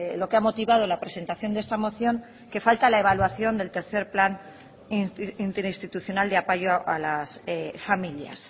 lo que ha motivado la presentación de esta moción que falta la evaluación del tercero plan interinstitucional de apoyo a las familias